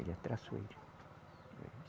Ele é traiçoeiro.